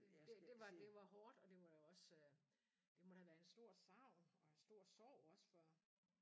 Det det var det var hårdt og det var da også det må da have været en stor savn og en stor sorg også for